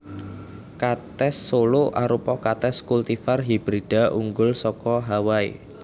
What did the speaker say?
Katès Solo Arupa katès kultivar hibrida unggul saka Hawaii